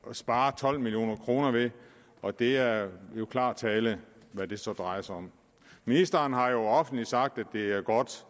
spare tolv million kroner ved og det er klar tale hvad det så drejer sig om ministeren har jo offentligt sagt at det er godt